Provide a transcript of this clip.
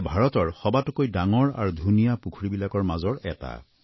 এয়া ভাৰতৰ সবাতোকৈ ডাঙৰ আৰু ধুনীয়া পুখুৰীবোৰৰ মাজৰ এটা